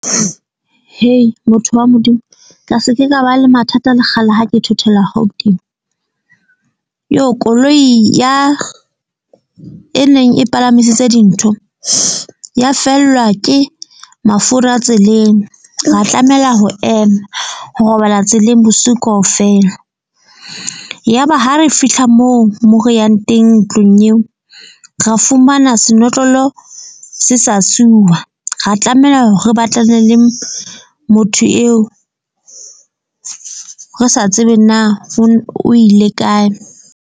Motho wa Modimo ka se ke ka ba le mathata le kgale ha ke thothela Gauteng koloi ya e neng e palamisitse dintho ya fellwa ke mafura tseleng. Ra tlamela ho ema ho robala tseleng bosiu kaofela. Yaba ha re fihla moo mo re yang teng ntlong eo, ra fumana senotlolo se sa suwa. Ra tlameha hore re batlane le motho eo re sa tsebe na o ile kae.